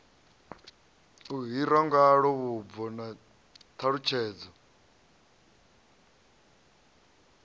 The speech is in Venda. hirwa ngalo vhubvo na ṱhalutshedzo